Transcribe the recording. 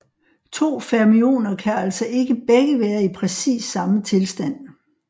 To fermioner kan altså ikke begge være i præcis samme tilstand